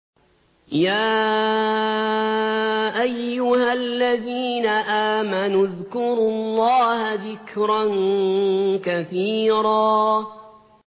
يَا أَيُّهَا الَّذِينَ آمَنُوا اذْكُرُوا اللَّهَ ذِكْرًا كَثِيرًا